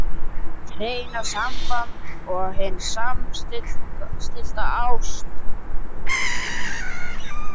HIÐ HREINA SAMBAND OG HIN SAMSTILLTA ÁST